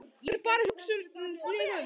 Ég er bara að hugsa mig um.